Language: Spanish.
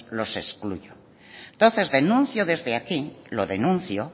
los excluyo entonces denuncio desde aquí lo denuncio